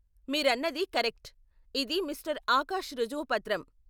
మీరన్నది కరెక్ట్ , ఇది మిస్టర్ ఆకాష్ రుజువు పత్రం.